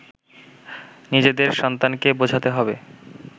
নিজেদের সন্তানকে বোঝাতে হবে